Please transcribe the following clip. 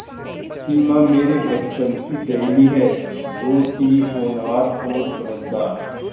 सिमा मेरे बचपन की सहेली है बहुत ही होनहार और समझदार